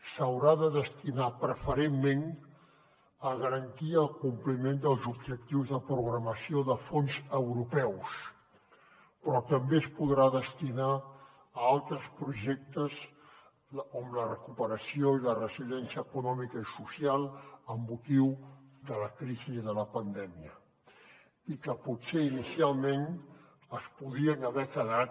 s’haurà de destinar preferentment a garantir el compliment dels objectius de programació de fons europeus però també es podrà destinar a altres projectes com la recuperació i la resiliència econòmica i social amb motiu de la crisi de la pandèmia i que potser inicialment es podien haver quedat